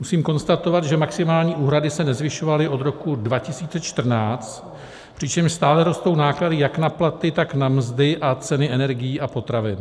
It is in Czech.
Musím konstatovat, že maximální úhrady se nezvyšovaly od roku 2014, přičemž stále rostou náklady jak na platy, tak na mzdy a ceny energií a potravin.